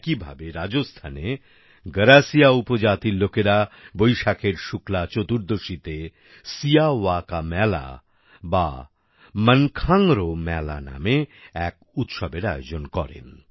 একই ভাবে রাজস্থানে গরাসিয়া উপজাতির লোকেরা বৈশাখের শুক্লা চতুর্দশীতে সিয়াওয়া কা মেলা বা মানখাংরো মেলা নামে এক উৎসবের আয়োজন করেন